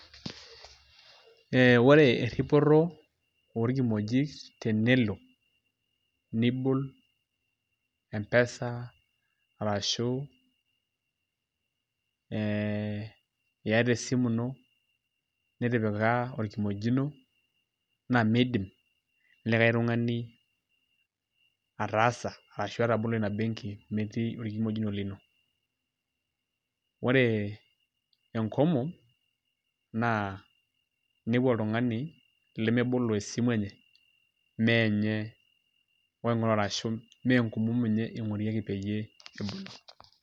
ee ore eripoto orkimoijk tenelo nibol empesa arashu ee iata esimu ino nitipika orkimojini ,naa miidim olikae tungani ataasa, arashu atabolo ina enki metii olkimojino lino. ore enkomom, naa inepu oltungani lemebolo esimu enye, meenye oing'ura ashu ime enkomom enye eing'orieki peyie ebol.